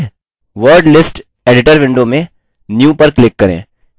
word list editor window में new पर click करें